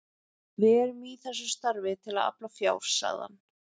Við erum í þessu starfi til að afla fjár sagði hann.